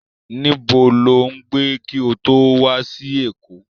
Nibó lo ń gbé ki ó to wa si Eko?